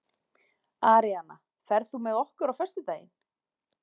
Aríanna, ferð þú með okkur á föstudaginn?